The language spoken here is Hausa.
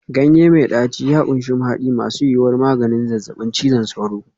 Ganye mai ɗaci ya ƙunshi mahadi masu yuwuwar maganin zazzabin cizon sauro.